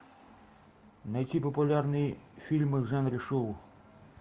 найти популярные фильмы в жанре шоу